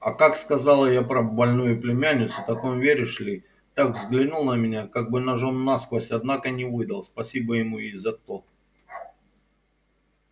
а как сказала я про больную племянницу так он веришь ли так взглянул на меня как бы ножом насквозь однако не выдал спасибо ему и за то